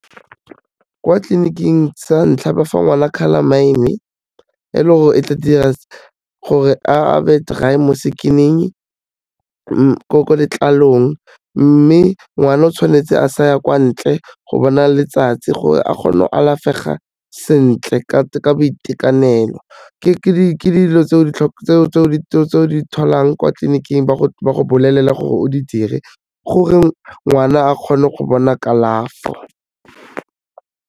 Kwa tleliniking sa ntlha ba fa ngwana Calamine e le gore e tla dira gore a be dry-e mo skin-ing, ko letlalong mme ngwana tshwanetse a sa ya kwa ntle go bona letsatsi gore a kgone go alafega sentle ka boitekanelo, ke dilo tse o di tholang kwa tleliniking ba go bolelela gore o di dire gore ngwana a kgone go thola kalafo.